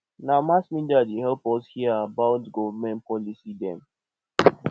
na mass media dey help us hear about government policy dem